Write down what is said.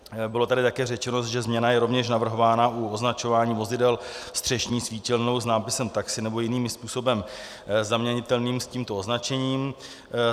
Bylo tady také řečeno, že změna je rovněž navrhována u označování vozidel střešní svítilnou s nápisem "taxi" nebo jiným způsobem zaměnitelným s tímto označením.